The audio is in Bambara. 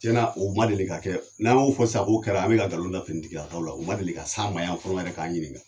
Tiɲɛna, u ma deli ka kɛ, n'an y'o fɔ sisa k'o kɛra, an bɛ ka nkalon da finitigilakaw la , o ma deli ka s'a ma yan fɔlɔ yɛrɛ k'an ɲininka.